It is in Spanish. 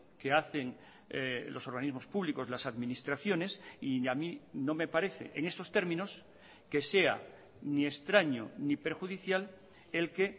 que hacen los organismos públicos las administraciones y a mí no me parece en estos términos que sea ni extraño ni perjudicial el que